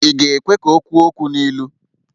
Ị ga-ekwe ka o kwuo okwu n'ilu?